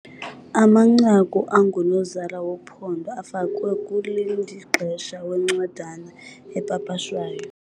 Amanqaku angunozala wophando afakwe kulindixesha wencwadana epapashwayo.